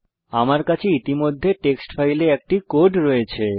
আমার কাছে ইতিমধ্যে টেক্সট ফাইলে একটি কোড রয়েছে